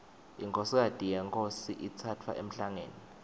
inkhosikati yenkhosi itsatfwa emhlangeni